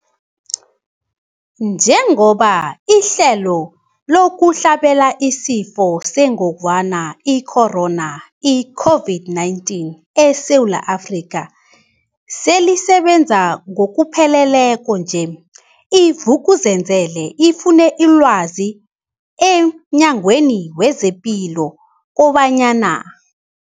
Njengoba ihlelo lokuhlabela isiFo sengogwana i-Corona, i-COVID-19, eSewula Afrika selisebenza ngokupheleleko nje, i-Vuk'uzenzele ifune ilwazi emNyangweni wezePilo kobanyana.